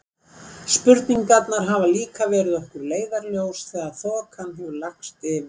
Spurningarnar hans hafa líka verið okkur leiðarljós þegar þokan hefur lagst yfir.